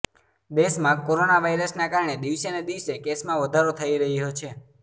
દેશમાં કોરોના વાયરસના કારણે દિવસેને દિવસે કેસમાં વધારો થઇ રહ્યો છે